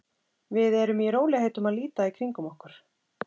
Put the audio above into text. Við eru í rólegheitum að líta í kringum okkur.